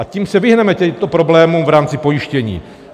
A tím se vyhneme těmto problémům v rámci pojištění.